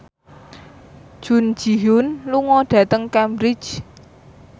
Jun Ji Hyun lunga dhateng Cambridge